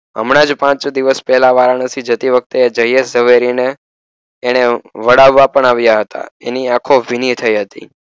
હમણાં જ પાંચ છ દિવસ પહેલા વારાણસી જતી વખતે જયેશ ઝવેરીને એણે વળાવવા પણ આવ્યા હતા. એની આંખો ભીની થઈ હતી.